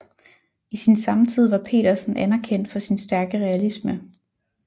I sin samtid var Petersen anerkendt for sin stærke realisme